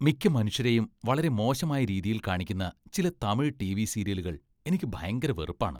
മിക്ക മനുഷ്യരെയും വളരെ മോശമായ രീതിയിൽ കാണിക്കുന്ന ചില തമിഴ് ടിവി സീരിയലുകൾ എനിക്ക് ഭയങ്കര വെറുപ്പാണ്. .